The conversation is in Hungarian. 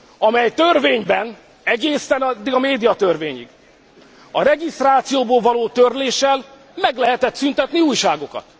amely törvényben egészen eddig a médiatörvényig a regisztrációból való törléssel meg lehetett szüntetni újságokat.